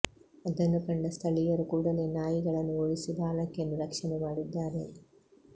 ಅದನ್ನು ಕಂಡ ಸ್ಥಳೀಯರು ಕೂಡಲೇ ನಾಯಿಗಳನ್ನು ಓಡಿಸಿ ಬಾಲಕಿಯನ್ನು ರಕ್ಷಣೆ ಮಾಡಿದ್ದಾರೆ